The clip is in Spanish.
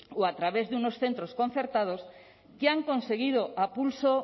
o a través de unos centros concertados que han conseguido a pulso